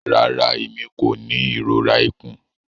Rara, Emi ko ni irora ikun.